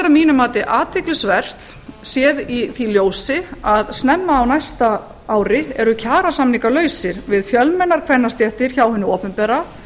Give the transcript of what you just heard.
mínu mati athyglisvert séð í því ljósi að snemma á næsta ári eru kjarasamningar lausir við fjölmennar kvennastéttir hjá hinu opinbera